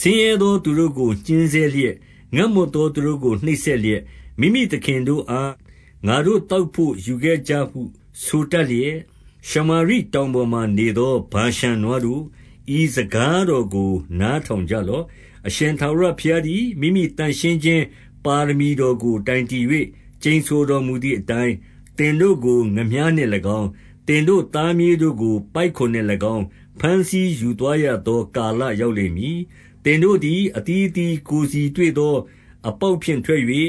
ဆင်းရဲသောသူတို့ကို ညှဉ်းဆဲလျက်၊ ငတ်မွတ်သောသူတို့ကိုနှိပ်စက်လျက်၊ မိမိသခင်တို့အား ငါတို့ သောက်ဘို့ယူခဲ့ကြဟုဆိုတတ်လျက်၊ ရှမာရိတောင်ပေါ်မှာနေသော ဗာရှန်နွားတို့၊ ဤစကားတော်ကိုနားထောင် ကြလော့။ အရှင်ထာဝရဘုရားသည် မိမိသန့်ရှင်းခြင်း ပါရမီတော်ကိုတိုင်တည်၍ ကျိန်ဆိုတော်မူသည်အတိုင်း၊ သင်တို့ကို ငါးမျှားနှင့်၎င်း၊ သင်တို့သားမြေးတို့ကိုပိုက်ကွန်နှင့်၎င်း ဘမ်းဆီးယူသွားရသောကာလ ရောက်လိမ့်မည်။ သင်တို့သည် အသီးအသီးကိုယ်စီတွေ့သော အပေါက်ဖြင့်ထွက်၍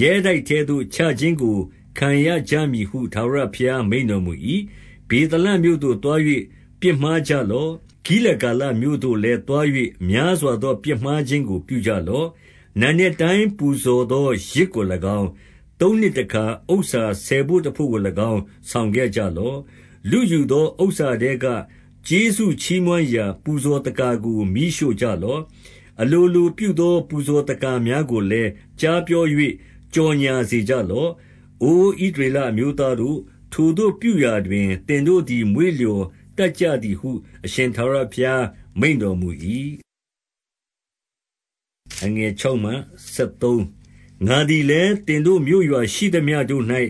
ရဲတိုက်ထဲသို့ ချခြင်းကိုခံရကြမည်ဟု ထာဝရဘုရားမိန့်တော်မူ၏။ ဗေသလမြို့သို့သွား၍ ပြစ်မှားကြလော့။ ဂိလဂါလမြို့သို့လည်းသွား၍ များစွာသောပြစ်မှားခြင်းခြင်းကို ပြုကြလော့။ နံနက်တိုင်းပူဇော်သောယဇ်ကို၎င်း၊ သုံးနှစ်တခါ ဥစ္စာဆယ်ဘို့တဘို့ကို၎င်း ဆောင်ခဲ့ကြလော့။ လုယူသောဥစ္စာထဲကကျေးဇူးချီးမွမ်းရာ ပူဇော်သက္ကာကို မီးရှို့ကြလော့။ အလိုလိုပြုသော ပူဇော်သက္ကာ များကိုလည်း ကြားပြော၍ကြော်ငြာစေကြလော့။ အိုဣသရေလအမျိုးသားတို့၊ ထိုသို့ပြုရာတွင် သင်တို့သည် မွေ့လျော်တတ်ကြသည်ဟု အရှင်ထာဝရဘုရား မိန့်တော်မူ၏။ ငါသည်လည်း၊ သင်တို့မြို့ရွာရှိသမျှတို့၌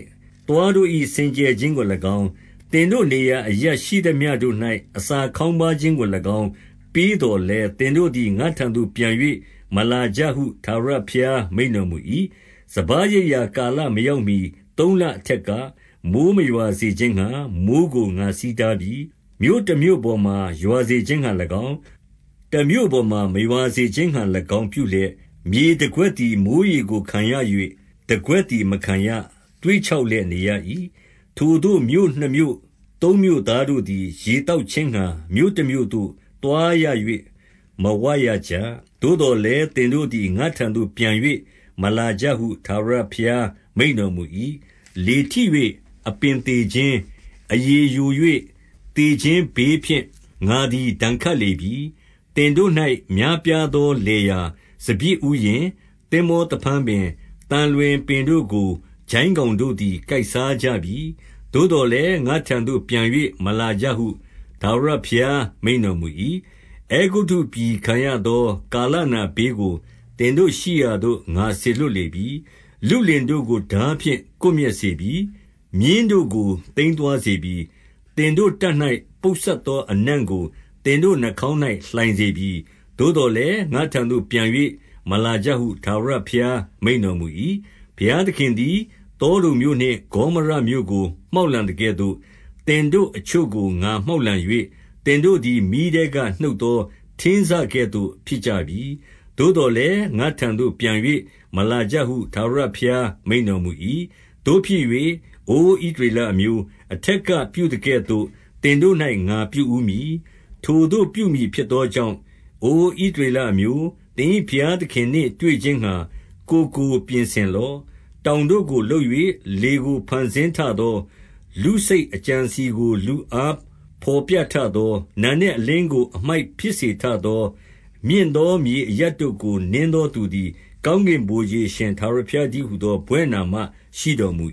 သွားတို့၏ စင်ကြယ်ခြင်းကို၎င်း၊ သင်တို့နေရာအရပ်ရှိသမျှတို့၌ အစာခေါင်းပါးခြင်းကို၎င်းပေးသော်လည်း၊ သင်တို့သည် ငါ့ထံသို့ပြန်၍ မလာကြဟုထာဝရဘုရားမိန့်တော်မူ၏။ စပါးရိတ်ရာကာလမရောက်မှီ သုံးလအထက်က၊ မိုဃ်းမရွာစေခြင်းငှါ မိုဃ်းကိုငါဆီးတားပြီ။ မြို့တမြို့ပေါ်မှာ ရွာစေခြင်းငှါ၎င်း၊ တမြို့ပေါ်မှာမရွာစေခြင်းငှါ၎င်းပြုလျက်၊ မြေတကွက်သည် မိုဃ်းရေကိုခံရ၍ တကွက်သည် မခံရ၊ သွေ့ခြောက်လျက် နေရ၏။ ထိုသို့မြို့နှစ်မြို့သုံးမြို့သားတို့သည် ရေသောက်ခြင်းငှါ မြို့တမြို့သို့သွားရ၍ မဝရကြ။ သို့သော်လည်း၊ သင်တို့သည် ငါ့ထံသို့ ပြန်၍မလာကြဟု ထာဝရဘုရားမိန့်တော်မူ၏။ လေထိ၍အပင်သေခြင်း၊ အရည်ယို၍ သေခြင်းဘေးဖြင့် ငါသည်ဒဏ်ခတ်လေပြီ။ သင်တို့၌ များပြားသောလယ်ယာ၊ စပျစ်ဥယျာဉ်၊ သင်္ဘောသဖန်းပင်၊ သံလွင်ပင်တို့ကို ကျိုင်းကောင်တို့သည် ကိုက်စားကြပြီ။ သို့သော်လည်း၊ ငါ့ထံသို့ ပြန်၍မလာကြဟု ထာဝရဘုရားမိန့်တော်မူ၏။ အဲဂုတ္တုပြည်ခံရသော ကာလနာဘေးကို သင်တို့ရှိရာသို့ ငါစေလွှတ်လေပြီ။ လုလင်တို့ကို ထားဖြင့် ကွပ်မျက်စေပြီ။ မြင်းတို့ကိုသိမ်းသွားစေပြီ။ သင်တို့တပ်၌ ပုပ်စပ်သောအနံ့ကို သင်တို့နှာခေါင်း၌လှိုင်စေပြီ။ သို့သော်လည်း၊ ငါ့ထံသို့ ပြန်၍မလာကြဟု ထာဝရဘုရားမိန့်တော်မူ၏။ ဘုရားသခင်သည် သောဒုံမြို့နှင့် ဂေါမောရမြို့ကို မှောက်လှန်သကဲ့သို့၊ သင်တို့အချို့ကိုငါမှောက်လှန်၍ သင်တို့သည် မီးထဲကနှုတ်သောထင်းစကဲ့သို့ ဖြစ်ကြပြီ။ သို့သော်လည်း၊ ငါ့ထံသို့ ပြန်၍မလာကြဟု ထာဝရဘုရား မိန့်တော်မူ၏။ သို့ဖြစ်၍၊ အိုဣသရေလအမျိုး၊ အထက်က ပြုသကဲ့သို့ သင်တို့၌ငါပြုဦးမည်။ ထိုသို့ပြုမည်ဖြစ်သော ကြောင့်၊ အိုဣသရေလအမျိုး၊ သင်၏ဘုရားသခင်နှင့် တွေ့ခြင်းငှါ ကိုယ်ကိုပြင်ဆင်လော့။ တောင်တို့ကို လုပ်၍လေကိုဖန်ဆင်းထသော၊ လူစိတ်အကြံအစည်ကို လူအားဘော်ပြထသော၊ နံနက် အလင်းကို အမိုက်ဖြစ်စေထသော၊ မြင့်သောမြေအရပ်တို့ကို နင်းသောသူသည် ကောင်းကင်ဗိုလ်ခြေအရှင် ထာဝရဘုရားတည်းဟူသော ဘွဲ့နာမရှိတော်မူ